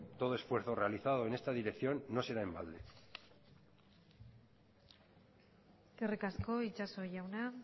todo esfuerzo realizado en esta dirección no será en balde eskerrik asko itxaso jauna